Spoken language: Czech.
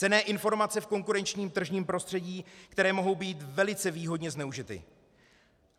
Cenné informace v konkurenčním tržním prostředí, které mohou být velice výhodně zneužity.